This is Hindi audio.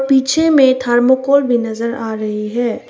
पीछे में थर्मोकोल भी नजर आ रही है।